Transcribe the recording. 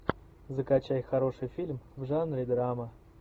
закачай хороший фильм в жанре драма